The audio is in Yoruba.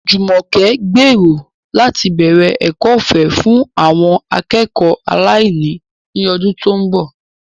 Jumoke gbèrò láti bẹ̀rẹ̀ ẹ̀kọ́ ọ̀fẹ́ fún àwọn akẹ́kọ̀ọ́ aláìní ní ọdún tó ń bọ̀.